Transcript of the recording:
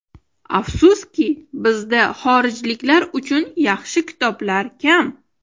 Afsuski, bizda xorijliklar uchun yaxshi kitoblar kam.